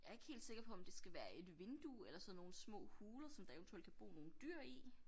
Jeg ikke helt sikker på om det skal være et vindue eller sådan nogle små huler som der eventuelt kan bo nogle dyr i